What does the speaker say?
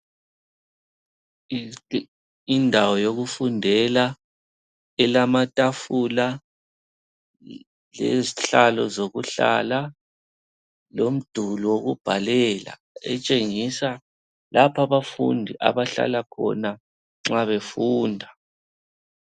Indawo yokufundela ilamatafula lezihlalo zokuhlala lemduli yokubhalela etshengisa lapha abafundi abahlala khona nxa befunda.